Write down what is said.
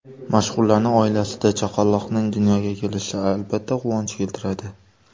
Mashhurlarning oilasida chaqaloqning dunyoga kelishi, albatta, quvonch keltiradi.